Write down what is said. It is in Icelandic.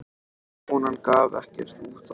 Konan gaf ekkert út á það.